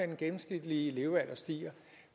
den gennemsnitlige levealder stiger